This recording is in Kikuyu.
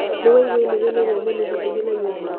Nĩwaigua inegene rĩa nyoni hakuhĩ na nyũmba?